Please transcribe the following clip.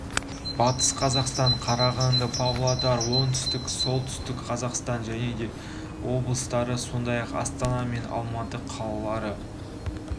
батыс қазақстан қарағанды павлодар солтүстік қазақстан және оңтүстік қазақстан облыстары сондай-ақ астана мен алматы қалалары